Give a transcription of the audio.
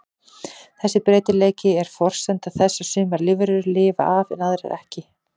Þessi breytileiki er forsenda þess að sumar lífverur lifa af en aðrar ekki.